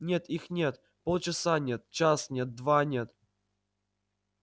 нет их нет полчаса нет час нет два нет